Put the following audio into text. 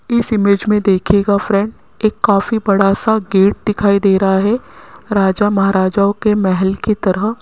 इस इमेज में देखिएगा फ्रेंड एक काफी बड़ा सा गेट दिखाई दे रहा है राजा महाराजाओं के महल की तरह --